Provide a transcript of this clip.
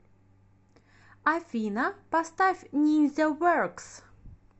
афина поставь нинзяверкс